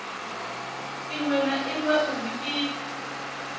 iṅwe na iṅwe uri i